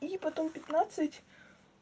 и потом пятнадцать